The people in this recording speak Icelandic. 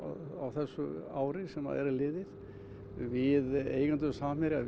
þessu ári sem er liðið við eigendur Samherja